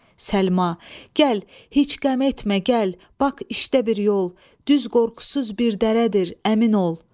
Səlma, gəl, heç qəm etmə, gəl, bax işdə bir yol, düz qorxusuz bir dərədir, əmin ol.